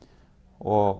og